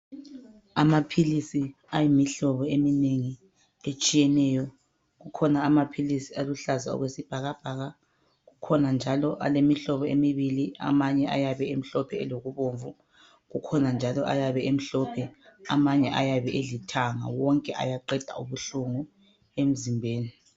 Amaphilisi ayimhlobo eminengi etshiyeneyo kodwa kukhona amaphilisi aluhlaza okwesbhakabhaka njalo alemihlobo emibili amanje ayabe emhlophe, akhona njalo alithanga wonke ayaqeda ubuhlungu emzimbeni.